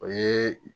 O ye